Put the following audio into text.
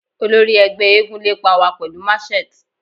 Olori ẹgbẹ eégún lepa wa pẹlu matchet